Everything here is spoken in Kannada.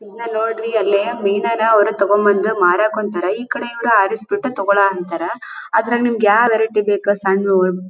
ಇಲ್ಲಿ ನೋಡ್ರಿ ಅಲ್ಲಿ ಅವರು ಮೀನಾ ನ ಅವರು ತಗೊಂಬಂದು ಮಾರಾಕ್ ಕುಂತಾರ ಈಕಡೆ ಇವರು ಆರಿಸಿಬಿಟ್ಟು ತೊಗಳ ಅಂತಾರ ಅದ್ರಲ್ಲಿ ನಿಮ್ಗೆ ಯಾವ ವೆರೈಟಿ ಬೇಕಾ ಸಣ್ಣದು--